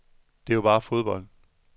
Det er jo bare fodbold.